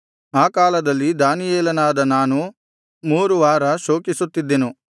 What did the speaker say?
ಆ ಕಾಲದಲ್ಲಿ ದಾನಿಯೇಲನಾದ ನಾನು ಮೂರು ವಾರ ಶೋಕಿಸುತ್ತಿದ್ದೆನು